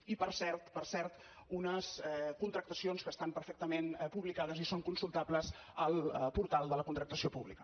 i per cert per cert unes contractacions que estan perfectament publicades i són consultables al portal de la contractació pública